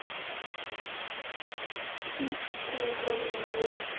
hvíslar hann á móti.